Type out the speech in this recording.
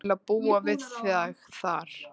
Til að búa við þig þar.